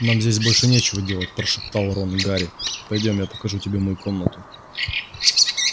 нам здесь больше нечего делать прошептал рон гарри пойдём я покажу тебе мою комнату